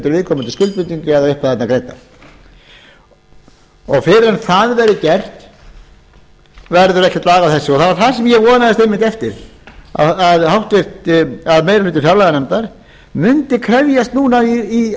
viðkomandi skuldbindingar eru eitthvað greiddar og fyrr en það verður gert verður ekkert lag á þessu og það var það sem ég vonaðist einmitt eftir að meiri hluti fjárlaganefndar mundi krefjast núna